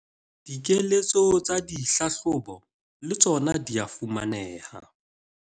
Dikeletso tsa dihlahlobo le tsona di a fumaneha